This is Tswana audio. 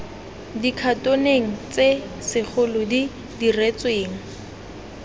dikhatoneng tse segolo di diretsweng